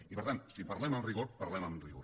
i per tant si parlem amb rigor parlem amb rigor